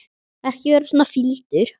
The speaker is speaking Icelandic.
Ekki vera svona fýldur.